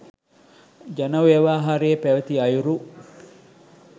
ජන ව්‍යවහාරයේ පැවති අයුරු